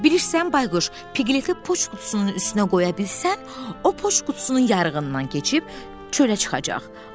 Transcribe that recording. Bilirsən, Bayquş, Piqleti poçt qutusunun üstünə qoya bilsən, o poçt qutusunun yarığından keçib çölə çıxacaq.